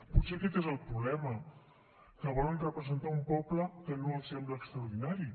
potser aquest és el problema que volen representar un poble que no els sembla extraordinari